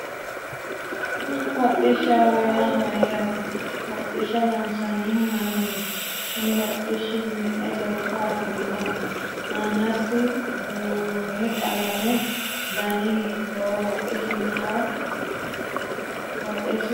Hodhishaho yaa mayaate hodhisha loonsanihu mayiiniiti kuni hodhishi me'e lekka afirinoho aanasi buurooni qalamete dani hiitooho isi noo woxeesi maa leelishanno